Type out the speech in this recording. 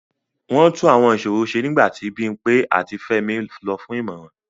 Wọ́n tún Àwọn ìṣòro ṣe nígbà tí Bimpe àti Femi lọ fún ìmọ̀ràn.